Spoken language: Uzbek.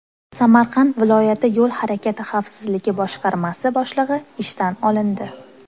Samarqand viloyati Yo‘l harakati xavfsizligi boshqarmasi boshlig‘i ishdan olindi.